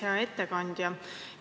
Hea ettekandja!